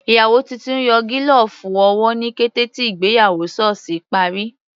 Ìyàwó titun yọ gílọ̀ọ̀fù owó ní kété tí ìgbéyàwó sọ́ọ̀sì parí.